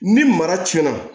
Ni mara cɛna